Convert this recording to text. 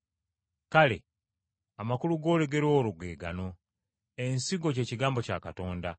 “Kale, amakulu g’olugero olwo ge gano: Ensigo ky’ekigambo kya Katonda.